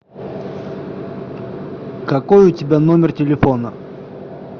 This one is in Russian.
какой у тебя номер телефона